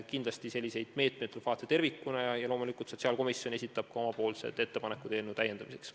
Kindlasti tuleb selliseid meetmeid vaadata tervikuna ja loomulikult sotsiaalkomisjon esitab ka omapoolsed ettepanekud eelnõu täiendamiseks.